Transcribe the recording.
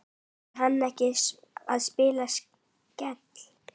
Er hann að spila Skell?